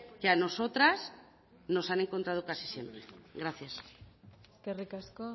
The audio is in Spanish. que a nosotras nos han encontrado casi siempre gracias eskerrik asko